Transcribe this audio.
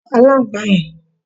pa aláǹgbàá yẹn!